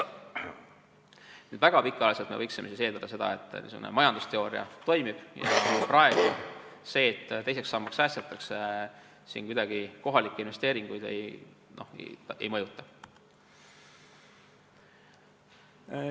Nüüd, väga pikaajaliselt võiksime eeldada seda, et niisugune majandusteooria toimib ja see, et praegu teise sambasse säästetakse, kohalikke investeeringuid kuidagi ei mõjuta.